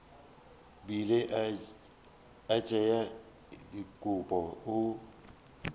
bile a tšea dikobo o